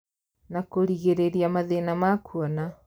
Na kũrigĩrĩria mathĩna ma kuona